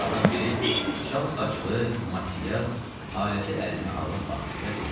Onlardan biri, çal saçlı Matias, aləti əlinə alıb baxdı və dedi: